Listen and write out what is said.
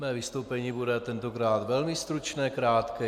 Moje vystoupení bude tentokrát velmi stručné, krátké.